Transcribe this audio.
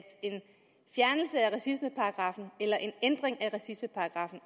racismeparagraffen eller en ændring af racismeparagraffen